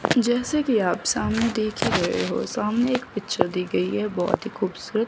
जैसा कि आप सामने देख ही रहे हो सामने एक पिक्चर दी गई है बहोत ही खूबसूरत।